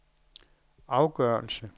afgørelse